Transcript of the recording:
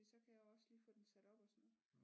Fordi så kan jeg også lige få den sat op og sådan noget